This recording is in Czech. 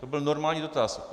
To byl normální dotaz.